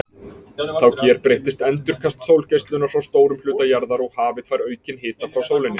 Þá gerbreytist endurkast sólgeislunar frá stórum hluta jarðar og hafið fær aukinn hita frá sólinni.